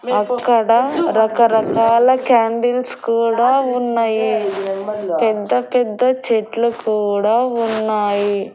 అక్కడ రకరకాల క్యాండిల్స్ కూడా ఉన్నాయి పెద్ద పెద్ద చెట్లు కూడా ఉన్నాయి.